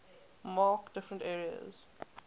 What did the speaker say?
mark different areas